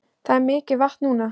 Það er mikið vatn núna